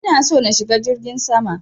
Ina so na shiga jirgin sama.